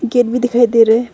Gate भी दिखाई दे रहा है।